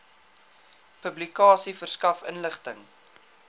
publikasie verskaf inligting